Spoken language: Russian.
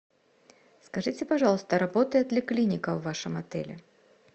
скажите пожалуйста работает ли клиника в вашем отеле